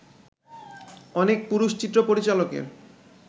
অনেক পুরুষ-চিত্রপরিচালকের